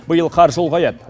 биыл қаржы ұлғаяды